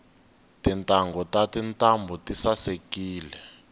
tintanghu ta tintambu tisaekile